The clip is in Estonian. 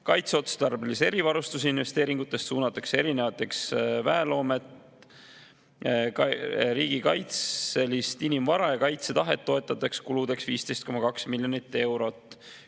Kaitseotstarbelise erivarustuse investeeringutest suunatakse erinevateks väeloomet, riigikaitselist inimvara ja kaitsetahet toetavateks kuludeks 15,2 miljonit eurot.